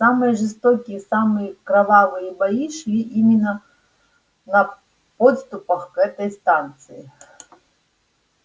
самые жестокие самые кровавые бои шли именно на подступах к этой станции